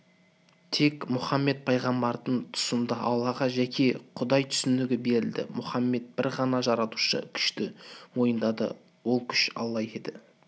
тек мұхаммед пайғамбардың тұсында аллаға жеке құдай түсінігі берілді мұхаммед бір ғана жаратушы күшті мойындады ол күші алла еді